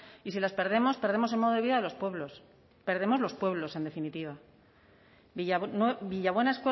y si las perdemos perdemos el modo de vida de los pueblos perdemos los pueblos en definitiva villabuena